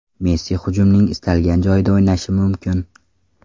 Messi hujumning istalgan joyida o‘ynashi mumkin.